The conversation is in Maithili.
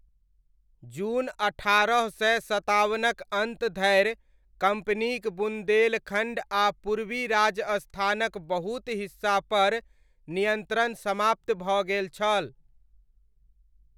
जून अट्ठारह सय सतावनक अन्त धरि कम्पनीक बुन्देलखण्ड आ पूर्वी राजस्थानक बहुत हिस्सापर नियन्त्रण समाप्त भऽ गेल छल।